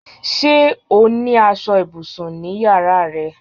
Sé o ní aṣọ ibùsùn ní yàrá rẹ?